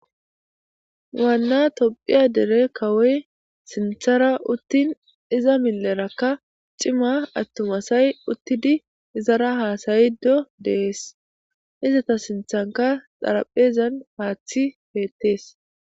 Waana tophphiya dere kawoy sinththara utin iza milerkka cimma atuma asay utid izara hasayido de'es izeta sinthankka xaraphezan haththi bettes